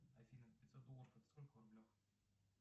афина пятьсот долларов это сколько в рублях